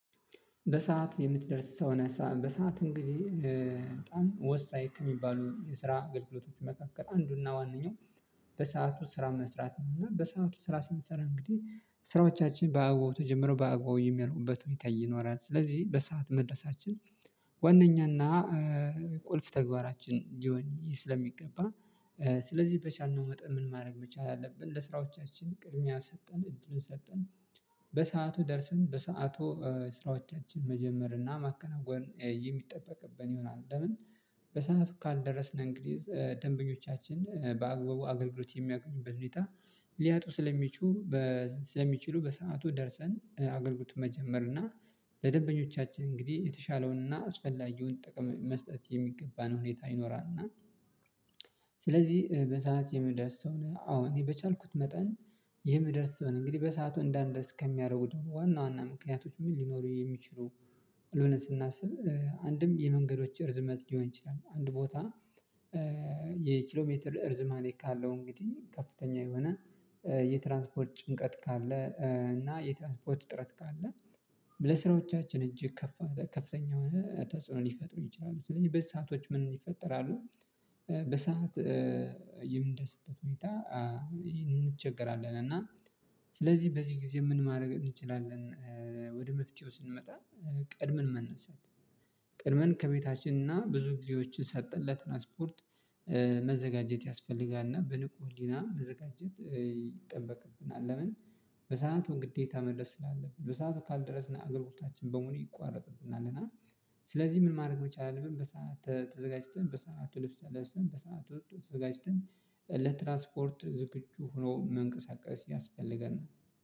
በሰአት የምትደርስ ሰው ነህ በሰአት እንግዲህ በጣም ወሳኝ ከሚባሉ የስራ አገልግሎቶች መካከል አንዱና ዋንኛው። በሰአቱ ስራ መስራት ነው እና በሰአቱ ስራ ስንሰራ እንግዲህ ስራዎቻችን በአግባቡ ተጀምረው በአግባው የሚያልቁበት ሁኔታ ይኖራል ስለዚህ በሰአት መድረሳችን ዋናኛና ቁልፍ ተግባራችን እንዲሆን ስለሚገባ ስለዚህ በቻልነው መጠን ምን ማድረግ መቻል አለብን ለስራዎቻችን ቅድሚያ ሰተን እድሉን ሰጠን በሰአቱ ደርሰን በሰአቱ ስራዎቻችን መጀመር ማከናወን የሚጠበቅብን ይሆናል። ለምን በሰአቱ ካልደረስነን እንግዲህ ደንበኞቻችን በአገልግሎት የሚያገኙበት ሁኔታ ሊያጡ ስለሚቹ ስለሚችሉ በሰአቱ ደርሰን አገልግሎት መጀመር እና ለደበኞቻችን እንግዲህ የተሻለውን እና አስፈላጊውን ጥቅምን መስጠት የሚገባን ሁኔታ ይኖራልና። ስለዚህ በሰአት የምደርስ ሰው አዎ እኔ በቻልኩት መጠን የምደርስ ሰው ነኝ። እንግዲህ በሰአቱ እንዳንደርስ ከሚያደርጉት ዋና ዋና ምክንያቶች ምን ሊኖሩ የሚችሉ ስናስብ አንድም የመንገዶች እርዝመት ሊሆን ይችላል። አንድ ቦታ የኪሎ ሜትር እርዝማሬ ካለው እንግዲህ ከፍተኛ የሆነ የትራንስፖርት ጭንቀት ካለ እና የትራንስፖርት እጥረት ካለ ለስራዎቻችን እጅግ ከፍተኛ ከፍተኛ የሆነ ተጽዕኖን ሊፈጥሩ ይችላሉ። ስለዚህ ምን ይፈጠራሉ በሰአት የምንደስበት ሁኔታ እንቸገራለን እና ስለዚህ በዚህ ጊዜ ምን ማድረግ እንችላለን? ወደ መፍትሄው ስንመጣ ቀድመን መነሳት ቀድመን ከቤታችንና ብዙ ጊዜዎችን ሰጠን ለትራንስፖርት መዘጋጀት ያስፈልጋልና በንቁ ህሊና መዘጋጀት ይጠበቅብናል። ለምን በሰአቱ ግዴታ መድረስ ስላለብን በሰአቱ ካልደረስን እገልግሎቶቻችን በሙሉ ይቋረጥብናል እና ስለዚህ ምን ማድረግ መቻል አለብን። በሰአት ተዘጋጅተን በሰአት ውስጥ ተነስተን በሰአት ውስጥ ተዘጋጅተን ለትራስፖርት ዝግጁ ሆኖ መንቀሳቀስ ያስፈልገናል